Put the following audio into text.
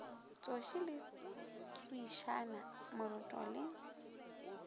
tsoši le tswišana moroto le